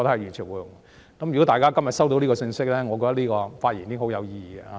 如果大家今天收到這個信息，我的發言便很有意義。